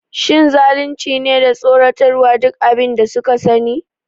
Shin zalunci ne da tsoratarwa duk abin da suka sani?